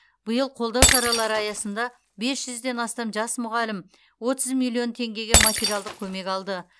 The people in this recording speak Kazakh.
биыл қолдау шаралары аясында бес жүзден астам жас мұғалім отыз миллион теңгеге материалдық көмек алды